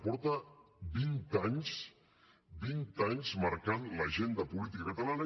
fa vint anys vint anys que marca l’agenda política catalana